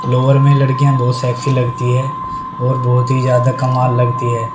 Lower में लड़कियां बहुत सेक्सी लगती है और बहुत ही ज्यादा कमाल लगती है।